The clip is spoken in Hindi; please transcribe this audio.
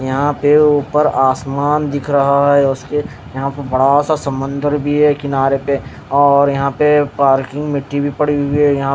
यहाँ पे ऊपर आसमान दिख रहा है उसके यहाँ पे बडासा समुंदर भी है किनारे पे और यहाँ पे पार्क में मिट्टी भी पड़ी हुयी है यहाँ--